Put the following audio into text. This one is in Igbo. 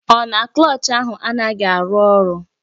Ọ na Klọch ahụ anaghị arụ ọrụ?